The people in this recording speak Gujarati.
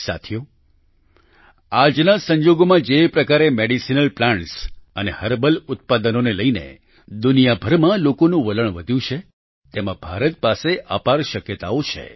સાથીઓ આજના સંજોગોમાં જે પ્રકારે મેડિસિનલ પ્લાન્ટ અને હર્બલ ઉત્પાદનોને લઈને દુનિયાભરમાં લોકોનું વલણ વધ્યું છે તેમાં ભારત પાસે અપાર શક્યતાઓ છે